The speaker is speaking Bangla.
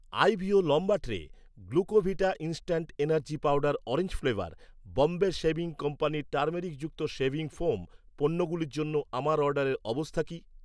আইভিও লম্বা tray , Glucovita instant energy powder orange flavour , Bombay shaving company টারমেরিকযুক্ত শেভিং ফোম পণ্যগুলোর জন্য আমার অর্ডারের অবস্থা কী